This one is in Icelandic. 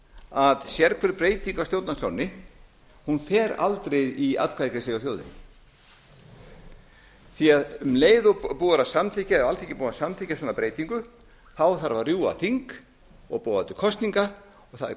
að sérhver breyting á stjórnarskránni fer aldrei í atkvæðagreiðslu hjá þjóðinni því um leið og búið er að samþykkja eða alþingi er búið að samþykkja svona breytingu þarf að rjúfa þing og boða til kosninga það er